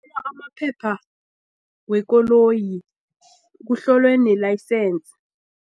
amaphepha wekoloyi kuhlolwe ne-layisensi.